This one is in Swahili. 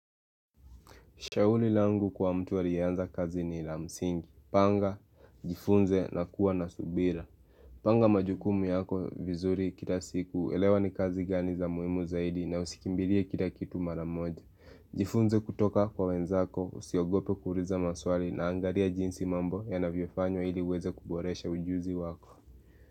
Shauli langu kwa mtu aliyeanza kazi ni la msingi, panga, jifunze na kuwa na subira Panga majukumu yako vizuri kila siku, elewa ni kazi gani za muhimu zaidi na usikimbilie kila kitu maramoja Jifunze kutoka kwa wenzako, usiogope kuuliza maswali na angalia jinsi mambo ya navyofanywa iliuweze kuboresha ujuzi wako.